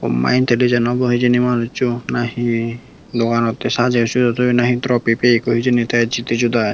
homma intilijen obo hijeni manusso nahi doganottey sajey sujai toyon nhi hi tropi peyegoi hijeni tey jidi judai.